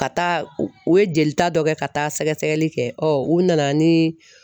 Ka taa u ye jelita dɔ kɛ ka taa sɛgɛsɛgɛli kɛ u nana ni